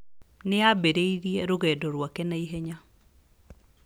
Nĩ aambĩrĩirie rũgendo rwake na ihenya.